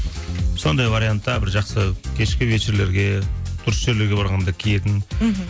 сондай вариантта бір жақсы кешкі вечерлерге дұрыс жерлерге барғанда киетін мхм